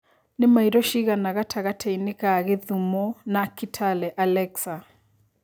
nĩ maĩro cigana gatagatiinĩ ga Kisumu na Kitale alexa